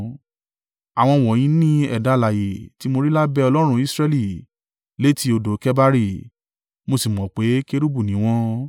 Àwọn wọ̀nyí ni ẹ̀dá alààyè tí mo rí lábẹ́ Ọlọ́run Israẹli létí odò Kebari, mo sì mọ̀ pé kérúbù ni wọ́n.